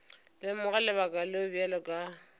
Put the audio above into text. lemoga lebaka leo bjale ka